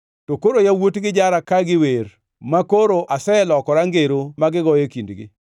“To koro yawuotgi jara ka giwer, makoro aselokora ngero ma gigoyo e kindgi.